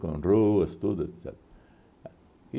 com ruas, tudo, etcetera.